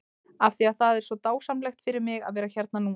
Af því að það er svo dásamlegt fyrir mig að vera hérna núna?